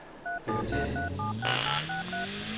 repetér